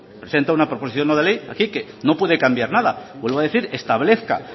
presenta una proposición no de ley así que no puede cambiar nada vuelvo a decir establezca